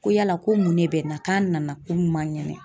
Ko yala ko mun de bɛ n na k'a nana ko n man kɛnɛ